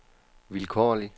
vilkårlig